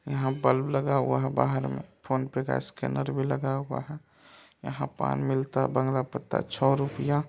यहाँ बल्ब लगा हुआ है बाहर मे फोन पे का स्कैनर भी लगा हुआ है यहाँ पान मिलता बंगला पत्ता छ रुपया--